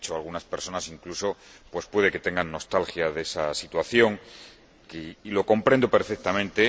De hecho, algunas personas incluso puede que tengan nostalgia de esa situación y lo comprendo perfectamente.